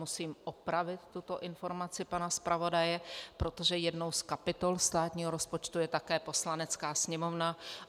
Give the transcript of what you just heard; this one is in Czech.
Musím opravit tuto informaci pana zpravodaje, protože jednou z kapitol státního rozpočtu je také Poslanecká sněmovna.